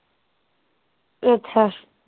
ਅੱਛਾ